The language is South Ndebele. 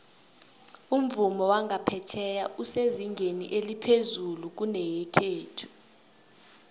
umvumo wangapheya esezingeni eliphezulu kuyenekhethu